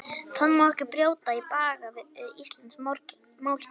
Það má ekki brjóta í bága við íslenskt málkerfi.